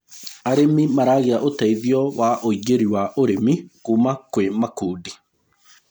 arĩmi maragia uteithio wa uingiri wa ũrĩmi kuma kwi makundi